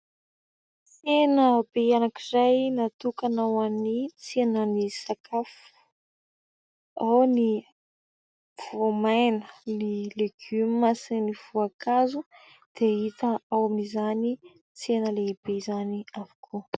Tsena be anankiray natokana ho an'ny tsenan'ny sakafo ao ny voamaina, ny legioma sy ny voankazo dia hita ao amin'izany tsena lehibe izany avokoa.